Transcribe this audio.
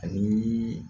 Ani